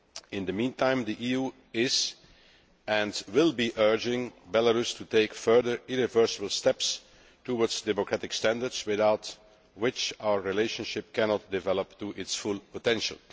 In the meantime, the EU is, and will be, urging Belarus to take further irreversible steps towards democratic standards, without which our relationship cannot develop to its full potential.